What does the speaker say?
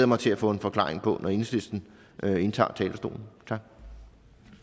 mig til at få en forklaring på når enhedslisten indtager talerstolen